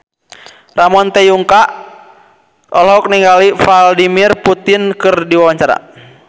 Ramon T. Yungka olohok ningali Vladimir Putin keur diwawancara